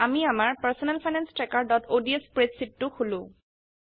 আমি আমাৰ personal finance trackerঅডছ স্প্ৰেডশীট টো খোলো